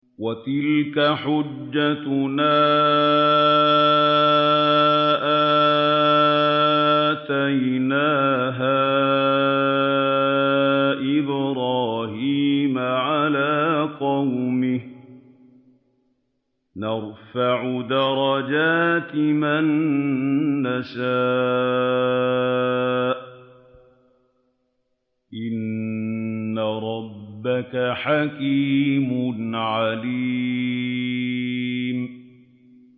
وَتِلْكَ حُجَّتُنَا آتَيْنَاهَا إِبْرَاهِيمَ عَلَىٰ قَوْمِهِ ۚ نَرْفَعُ دَرَجَاتٍ مَّن نَّشَاءُ ۗ إِنَّ رَبَّكَ حَكِيمٌ عَلِيمٌ